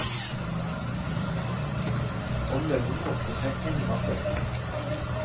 Og løgnen vokser seg enda større.